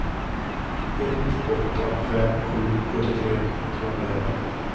ett åtta fem sju sjuttiotre tvåhundraelva